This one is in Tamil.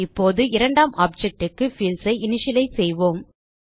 இப்போது இரண்டாம் ஆப்ஜெக்ட் க்கு பீல்ட்ஸ் ஐ இனிஷியலைஸ் செய்வோம்